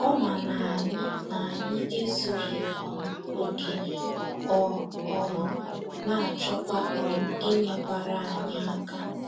Ọ ma na anyị na anyị ezughị um okè, ọ um na - achọkwa um inyekwara anyị aka.